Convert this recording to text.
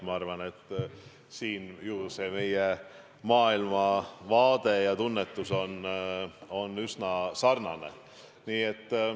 Ma arvan, et siin on meie maailmavaade ja tunnetus üsna sarnane.